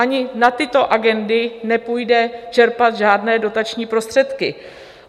Ani na tyto agendy nepůjde čerpat žádné dotační prostředky.